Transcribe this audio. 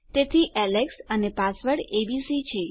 તેથી એલેક્સ અને મારો પાસવર્ડ એબીસી છે